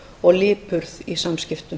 og lipurð í samskipum